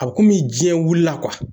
A bɛ kɔmi jiɲɛ wuli la